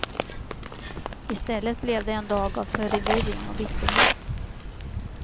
I stället blev det en dag av förvirring och bitterhet.